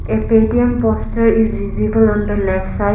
a paytm poster is visible on the left side.